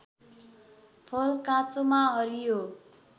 फल काँचोमा हरियो